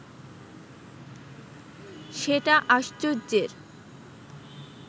সেটা আশ্চর্যের